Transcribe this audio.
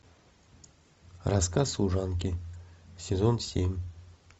рассказ служанки сезон семь